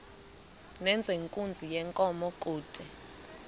nezenkunzi yenkomo kude